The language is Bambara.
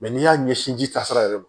n'i y'a ɲɛsin ji taasira yɛrɛ ma